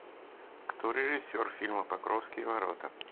кто режиссер фильма покровские ворота